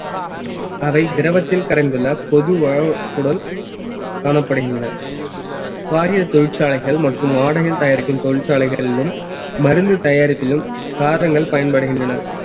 அவை திரவத்தில் கரைந்துள்ள பொது காணப்படுகின்றன காரிய தொழிற்சாலைகள் மற்றும் ஆடைகள் தயாரிக்கும் தொழிற்சாலைகளிலும் மருந்து தயாரிப்பிலும் காரங்கள் பயன்படுகின்றன